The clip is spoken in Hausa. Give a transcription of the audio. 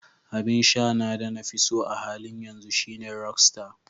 Abin sha na da na fiso a halin yanzu shine "Rockstar".